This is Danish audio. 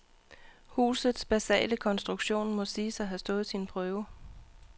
Husuts basale konstruktion må siges at have stået sin prøve.